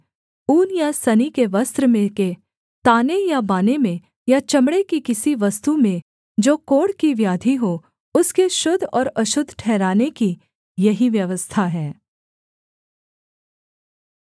ऊन या सनी के वस्त्र में के ताने या बाने में या चमड़े की किसी वस्तु में जो कोढ़ की व्याधि हो उसके शुद्ध और अशुद्ध ठहराने की यही व्यवस्था है